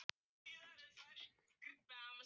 Hilmir, hvernig er veðurspáin?